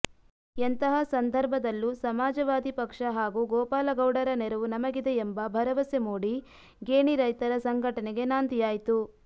ಎಂತಹ ಸಂದರ್ಭದಲ್ಲೂ ಸಮಾಜವಾದಿ ಪಕ್ಷ ಹಾಗೂ ಗೋಪಾಲಗೌಡರ ನೆರವು ನಮಗಿದೆ ಎಂಬ ಭರವಸೆ ಮೂಡಿ ಗೇಣಿ ರೈತರ ಸಂಘಟನೆಗೆ ನಾಂದಿಯಾಯಿತು